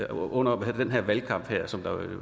under den valgkamp som der